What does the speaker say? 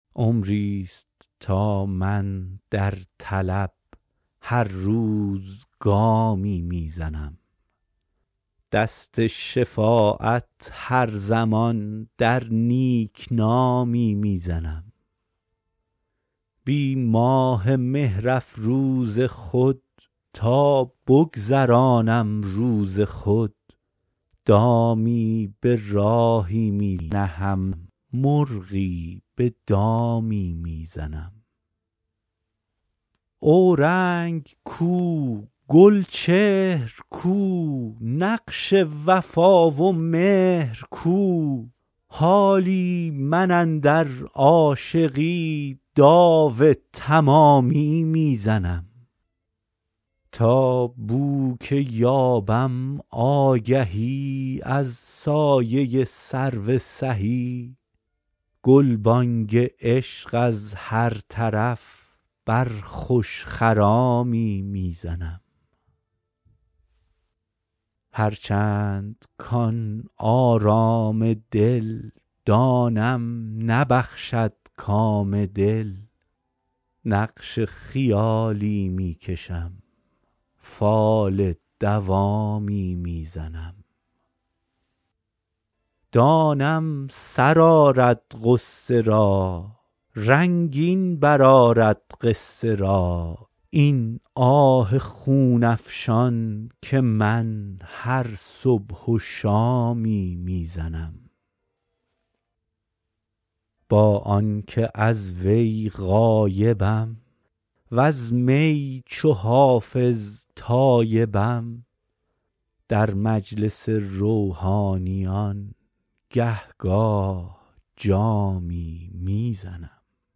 عمریست تا من در طلب هر روز گامی می زنم دست شفاعت هر زمان در نیک نامی می زنم بی ماه مهرافروز خود تا بگذرانم روز خود دامی به راهی می نهم مرغی به دامی می زنم اورنگ کو گلچهر کو نقش وفا و مهر کو حالی من اندر عاشقی داو تمامی می زنم تا بو که یابم آگهی از سایه سرو سهی گلبانگ عشق از هر طرف بر خوش خرامی می زنم هرچند کـ آن آرام دل دانم نبخشد کام دل نقش خیالی می کشم فال دوامی می زنم دانم سر آرد غصه را رنگین برآرد قصه را این آه خون افشان که من هر صبح و شامی می زنم با آن که از وی غایبم وز می چو حافظ تایبم در مجلس روحانیان گه گاه جامی می زنم